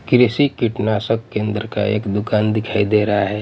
कृषि कीटनाशक केन्द्र का एक दुकान दिखाई दे रहा है।